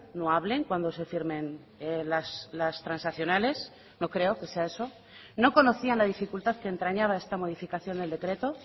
no hablen cuando se firmen las transaccionales no creo que sea eso no conocían la dificultad que entrañaba esta modificación del decreto